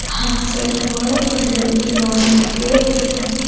हाँगसर वोड वोडल्यो इमारतीयो असा.